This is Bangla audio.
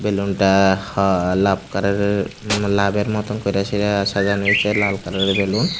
বেলুন -টা হা লাভ কালার -এর লাভ -এর মতন কইরে সেইটা সাজানো হইছে লাভ কালার -এর বেলুন ।